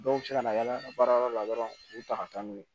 Dɔw bɛ se ka na yaala baarayɔrɔ la dɔrɔn u ta ka taa n'u ye